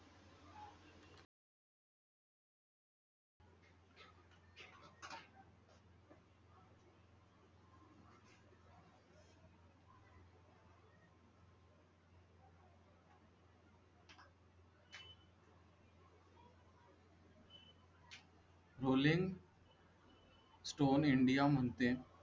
Bowling stone india म्हणते.